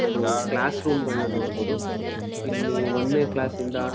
ಒಂದು ಕ್ಲಾಸ್ಸ್ರೂಮ್ನ ನೋಡಬಹುದು ಇಲ್ಲಿ ಒಂದ್ನೇ ಕ್ಲಾಸ್ಸ್ನಿಂದ --